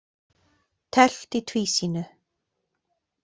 Teflt í tvísýnu